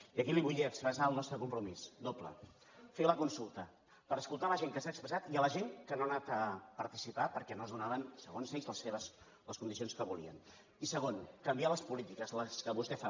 i aquí li vull expressar el nostre compromís doble fer la consulta per escoltar la gent que s’ha expressat i la gent que no ha anat a participar perquè no es donaven segons ells les condicions que volien i segon canviar les polítiques les que vostè fa